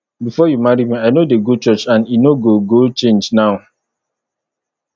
before you marry me i no dey go church and e no go go change now